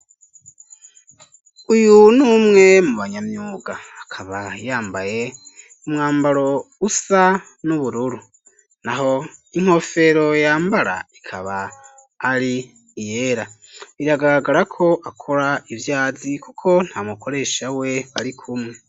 Uyu numwe mu banyamyuga akaba yambaye umwambaro usa n'ubururu naho inkofero yambara ikaba ari iyera iragaragara ko akora ivyazi kuko ntamukoresha we ari kumwe